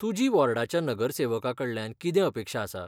तुजी वॉर्डाच्या नगरसेवकाकडल्यान कितें अपेक्षा आसा?